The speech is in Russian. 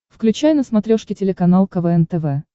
включай на смотрешке телеканал квн тв